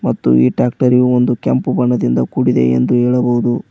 ಮತ್ತು ಈ ಟ್ರ್ಯಾಕ್ಟರ್ಯು ಕೆಂಪು ಬಣ್ಣದಿಂದ ಕೂಡಿದೆ ಎಂದು ಹೇಳಬಹುದು.